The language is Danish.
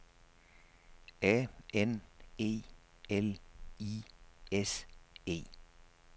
A N E L I S E